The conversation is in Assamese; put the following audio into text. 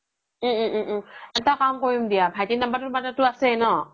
উম উম এটা কাম কৰিম দিয়া ভাইতিৰ number তো তুমাৰ তাত তো আছেই ন